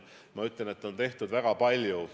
Ma ütlen, et on tehtud väga palju.